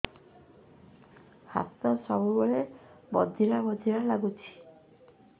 ହାତ ସବୁବେଳେ ବଧିରା ବଧିରା ଲାଗୁଚି